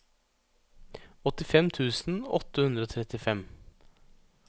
åttifem tusen åtte hundre og trettifem